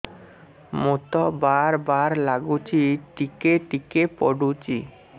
ମୁତ ବାର୍ ବାର୍ ଲାଗୁଚି ଟିକେ ଟିକେ ପୁଡୁଚି